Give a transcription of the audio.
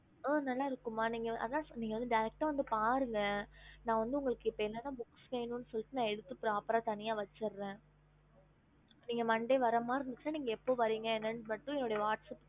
ஹம்